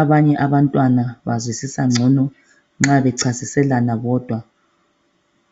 Abanye abantwana bazwisisa ngcono nxa bechasiselana bodwa.